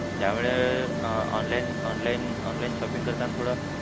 त्यामुळे अह online online online shopping करताना थोडा,